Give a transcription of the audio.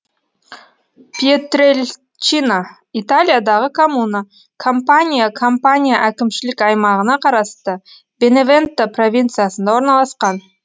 пьетрельчина италиядағы коммуна кампания кампания әкімшілік аймағына қарасты беневенто провинциясында орналасқан